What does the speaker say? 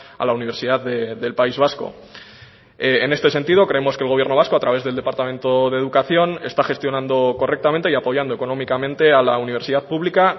a la universidad del país vasco en este sentido creemos que el gobierno vasco a través del departamento de educación está gestionando correctamente y apoyando económicamente a la universidad pública